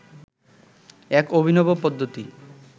এক অভিনব পদ্ধতি